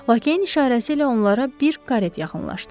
Lakeyin işarəsi ilə onlara bir karet yaxınlaşdı.